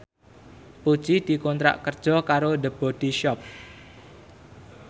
Puji dikontrak kerja karo The Body Shop